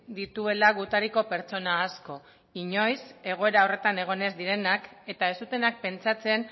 dituela gutariko pertsona asko inoiz egoera horretan egon ez direnak eta ez zutenak pentsatzen